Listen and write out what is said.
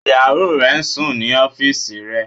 Ìyàwó re n sùn ní ọ́fìsì rẹ